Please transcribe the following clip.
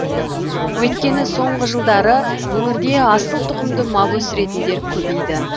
өйткені соңғы жылдары өңірде асыл тұқымды мал өсіретіндер көбейді